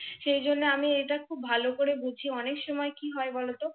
সে জন্য এটা আমি খুব ভালো করে বুঝি অনেক সময় কি হয় বলত?